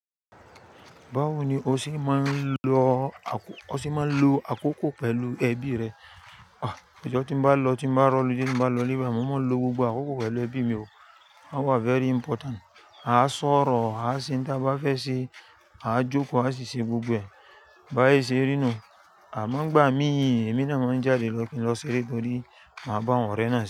Báwo ni o ṣe máa ń lo àkókò pẹ̀lú ẹbí rẹ? Ojo tí n bá lọ, tí mo bá r'holiday, tí mo bá lọ le bai, mo máa ń lo gbogbo àkókò pẹ̀lú ẹbí mi o. Wọ́n wà very important. A máa sọ̀rọ̀, a máa ṣe n ti a bá fẹ́ ṣe, a máa jókòó, a sì ṣe gbogbo ẹ̀. Báye ṣe rínu, àmọ́ nigbà mí, èmi náà máa ń jáde lọ kí n lọ ṣeré torí máa bá àwọn ọ̀rẹ́ náà ṣeré.